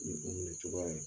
Minnu bina o cogoya la